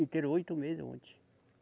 Inteirou, oito meses, ontem.